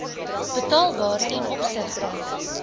betaalbaar ten opsigte